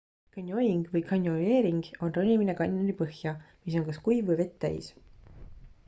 canyoning või canyoneering on ronimine kanjoni põhja mis on kas kuiv või vett täis